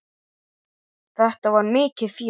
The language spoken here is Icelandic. Þetta var mikið fjör.